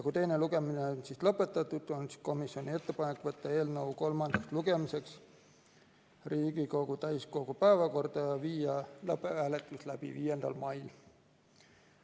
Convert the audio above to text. Kui teine lugemine on lõpetatud, võtta eelnõu kolmandaks lugemiseks Riigikogu täiskogu päevakorda ja viia lõpphääletus läbi 5. mail.